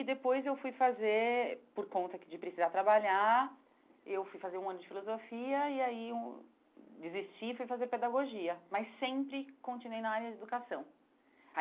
E depois eu fui fazer, por conta que de precisar trabalhar, eu fui fazer um ano de filosofia e aí eu desisti e fui fazer pedagogia, mas sempre continuei na área de educação.